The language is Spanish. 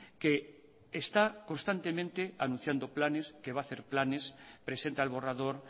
que está constantemente anunciando planes que va a hacer planes presenta el borrador